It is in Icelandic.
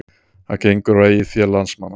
Það gengur á eigið fé landsmanna